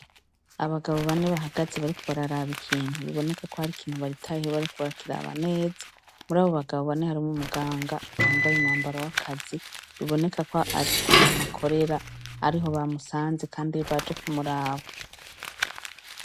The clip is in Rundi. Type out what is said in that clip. Abagabo bane bahagaze bariko bararaba ikintu bibonekako hari ikintu bitayeho bariko barakiraba neza murabo bagabo bane harimwo umuganga yambaye umwambaro w' akazi bibonekako ari ahantu akorera ariho bamusanze kandi baje kumuraba.